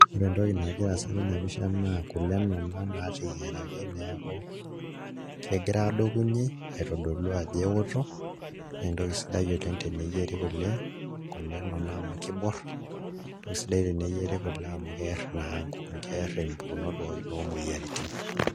Ore entoki nagira aasa tena pisha naa kule nena naateyiaraki neeku kegira aadokunyie aitodolu ajo eoto naa entoki sidai teneyieri kule, kule nena amu kiborr aisidai teneyieri kule amu kerr naa keer mpukunot pookin omoyiaritin.